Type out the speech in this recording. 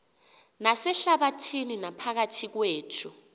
nasehlabathini naphakathi kwethu